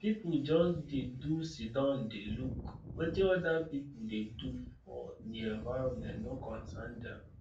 some pipu just dey do siddon dey look wetin other pipu dey do for di environment no concern dem